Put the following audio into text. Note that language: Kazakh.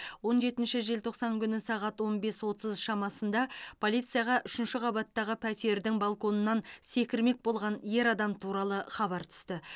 он жетінші желтоқсан күні сағат он бес отыз шамасында полицияға үшінші қабаттағы пәтердің балконынан секірмек болған ер адам туралы хабар түсті